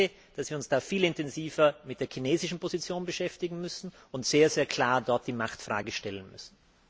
Ich denke, dass wir uns da viel intensiver mit der chinesischen Position beschäftigen und dort sehr klar die Machtfrage stellen müssen.